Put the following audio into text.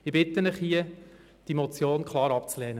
Ich bitte Sie, diese Motion klar abzulehnen.